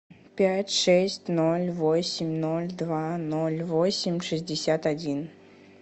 пять шесть ноль восемь ноль два ноль восемь шестьдесят один